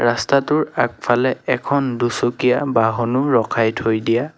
ৰাস্তাটোৰ আগফালে এখন দুচকীয়া বাহনো ৰখাই থৈ দিয়া--